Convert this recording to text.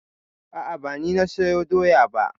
A'a ba ni na sayo doya ba.